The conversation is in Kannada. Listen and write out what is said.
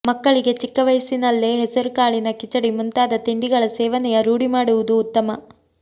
ಮಕ್ಕಳಿಗೆ ಚಿಕ್ಕ ವಯಸ್ಸಿನಲ್ಲೇ ಹೆಸರುಕಾಳಿನ ಕಿಚಡಿ ಮುಂತಾದ ತಿಂಡಿಗಳ ಸೇವನೆಯ ರೂಢಿ ಮಾಡುವುದು ಉತ್ತಮ